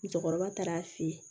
Musokɔrɔba taara a fɛ yen